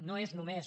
no és només